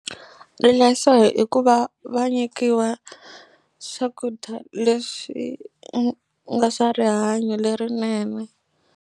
Leswo hi hi ku va va nyikiwa swakudya leswi u nga swa rihanyo lerinene.